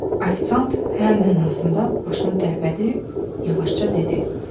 Ofisiant "hə" mənasında başını tərpədib yavaşca dedi.